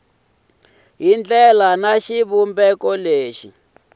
hi ndlela ni xivumbeko lexi